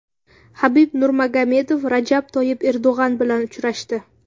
Habib Nurmagomedov Rajab Toyyib Erdo‘g‘on bilan uchrashdi.